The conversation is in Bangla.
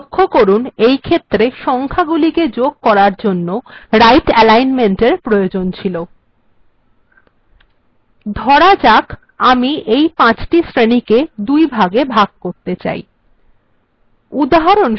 লক্ষ্য করুন এইক্ষেত্রে সংখ্যাগুলিকে যোগ করার জন্য right alignementএর প্রয়োজন ছিল ধরা যাক আমি এই পাঁচটি শ্রেণীকে দুইভাগে ভাগ করতে চাই